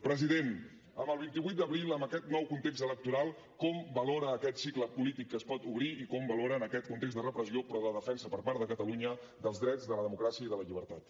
president amb el vint vuit d’abril amb aquest nou context electoral com valora aquest cicle polític que es pot obrir i com el valora en aquest context de repressió però de defensa per part de catalunya dels drets de la democràcia i de la llibertat